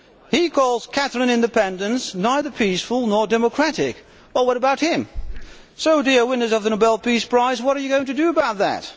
He calls Catalan independence neither peaceful nor democratic. Well, what about him? So, dear winners of the Nobel Peace Prize, what are you going to do about that?